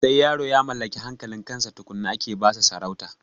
Sai yaro ya mallaki hankalin kansa tukunna ake basa sarauta